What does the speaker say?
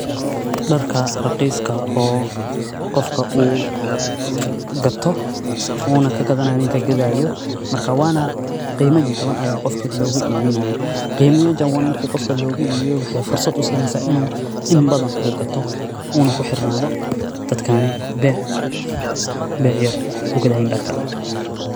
Darka raqiiska oo qofka uu gato uuna kagadanaayo ninka gadaayo markaa waana qiima jajawan ayaa qofka loga ibinaayaa. Qiima jajawan marki qofka logo iibiyo waxaay fursad usiineysaa inuu inbadan uu gato uuna kuxirnaado dadkaaney beec, beec yar kugadaayaan darka.